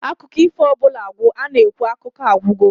Akụkọ ifo ọbụla gwụ, a-na ekwu "Akụkọ a agwụgo"